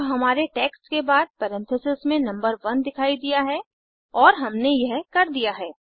अतः हमारे टेक्स्ट के बाद परेन्थिसिस में नंबर 1 दिखाई दिया है और हमने यह कर दिया है